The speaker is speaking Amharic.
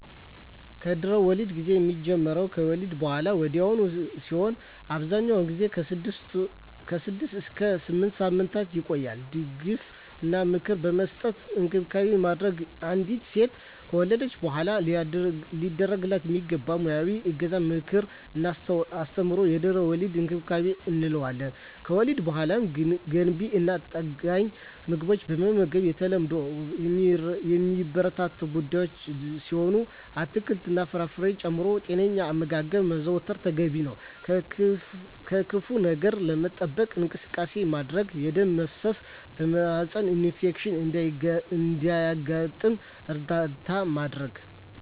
የድህረ-ወሊድ ጊዜ የሚጀምረው ከወሊድ በሃላ ወዲያውኑ ሲሆን አብዛኛውን ጊዜ ከ6 እስከ 8 ሳምንታት ይቆያል ድጋፍ እና ምክር በመስጠት እንክብካቤ ማድረግ። አንዲት ሴት ከወለደች በሃላ ሊደረግላት የሚገቡ ሙያዊ እገዛ ምክር እና አስተምሮ የድህረ-ወሊድ እንክብካቤ እንለዋለን። ከወሊድ በሃላ ገንቢ እና ጠጋኝ ምግቦችን መመገብ የተለመዱ እና የሚበረታቱ ጉዳይ ሲሆን አትክልት እና ፍራፍሬ ጨምሮ ጤነኛ አመጋገብ ማዘውተር ተገቢ ነው። ከክፋ ነገር ለመጠበቅ እንቅስቃሴዎች ማድረግ የደም መፍሰስ የማህፀን ኢንፌክሽን እንዳያጋጥም እርዳታ ማድረግ።